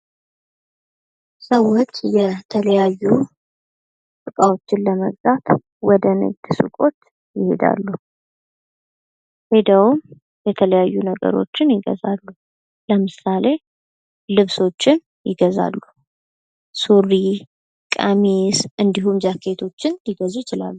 ሰዎች የተለያዩ እቃዎችን ለመግዛት ወደ ንግድ ሱቆች ይሄዳሉ:: ሄደውም የተለያዩ ነገሮችን ይገዛሉ:: ለምሳሌ ልብሶችን ይገዛሉ:: ሱሪ ቀሚስ እንዲሁም ጃኬቶችን ሊገዙ ይችላሉ::